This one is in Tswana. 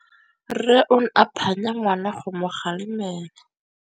Rre o ne a phanya ngwana go mo galemela.